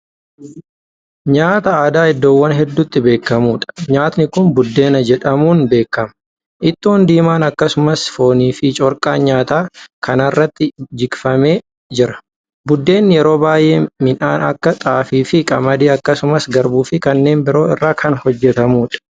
Nyaata aadaa iddoowwan hedduuti beekamuudha. nyaanni Kuni buddeena jedhamuun beekama. ittoon diimaan akkasumas foonfi corqaan nyaata kanaarratti jikfamee jira. buddeenni yeroo baay'ee midhaan Akka xaafiifi qamadii akkasumas garbuufi kanneen biroo irraa Kan hojjatamuudha.